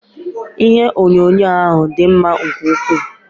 Ihe onyonyo a dị mma nke ukwuu.